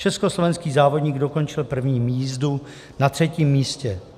Československý závodník dokončil první jízdu na třetím místě.